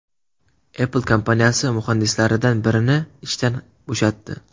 Apple kompaniyasi muhandislaridan birini ishdan bo‘shatdi.